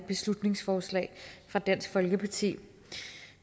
beslutningsforslag fra dansk folkeparti